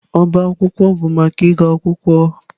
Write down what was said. Ọbá akwụkwọ bụ maka ịgụ akwụkwọ.